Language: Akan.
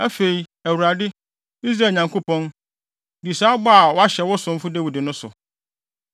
Afei, Awurade, Israel Nyankopɔn, di saa bɔ a woahyɛ wo somfo Dawid no so.